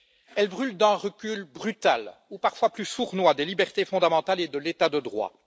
Elle brûle d'un recul brutal, ou parfois plus sournois, des libertés fondamentales et de l'état de droit.